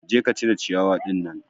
Je ka cire ciyawa ɗinnan